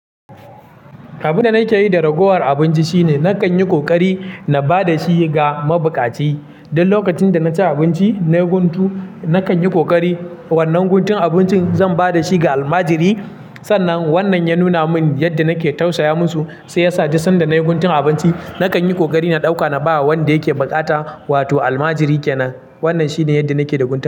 Abin da nake yi da ragowar abinci shine, na kan yi ƙoƙari na ba da shi ga mabuƙaci. Duk lokacin da na ci abinci na guntu, na kan yi ƙoƙari wannan guntun abincin zan ba da shi ga almajiri. Sannan wannan ya nuna min yadda nake tausaya musu, sai ya sa duk sanda na yi guntun abinci, na kan yi ƙoƙari na ɗauka na ba wa wanda yake buƙata, wato almajiri kenan. Wannan shine yadda nake da guntu.